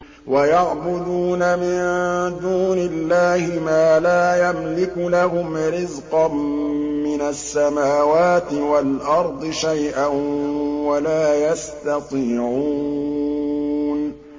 وَيَعْبُدُونَ مِن دُونِ اللَّهِ مَا لَا يَمْلِكُ لَهُمْ رِزْقًا مِّنَ السَّمَاوَاتِ وَالْأَرْضِ شَيْئًا وَلَا يَسْتَطِيعُونَ